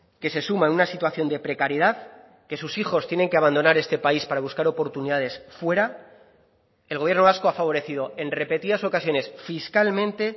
que se suma en una situación de precariedad que sus hijos tienen que abandonar este país para buscar oportunidades fuera el gobierno vasco ha favorecido en repetidas ocasiones fiscalmente